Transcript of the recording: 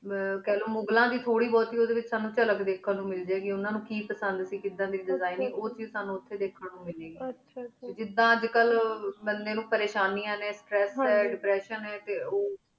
T ਖਲੋ ਮੁਖ ਲਾਂ ਦੇ ਥੋਰੀ ਬੂਟੀ ਉਦਯ ਵੇਚ ਸਾਨੂ ਚਾਲਕ ਧ੍ਕ੍ਹਨ ਨੂ ਮਿਲਦੀ ਉਨਾ ਉਨ ਕੀ ਪਸੰਦ ਸੇ ਉਨਾ ਨੂੰ ਕਿਦਾਂ ਦੇ ਜਗਾ ਉਠੀ ਸਾਨੂ ਉਠੀ ਧ੍ਕ੍ਹਨ ਨੂ ਮਿਲ ਜੇ ਗੇ ਮਿਲ ਜੇ ਗੇ ਹਨ ਜੀ ਹਨ ਜੀ ਜਿਦਾਂ ਅਜੇ ਕਲ ਬੰਦੀ ਨੂੰ ਪੇਰ੍ਯ੍ਸ਼ਾਨੀ ਨੀ ਦੇਪ੍ਰਸ੍ਸਿਓਂ ਆਯ